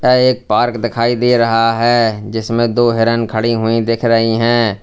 एक पार्क दिखाई दे रहा है जिसमें दो हिरण खड़ी हुई दिख रही हैं।